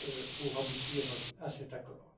pour aboutir à cet accord.